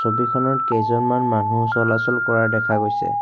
ছবিখনত কেইজনমান মানুহ চলাচল কৰা দেখা গৈছে।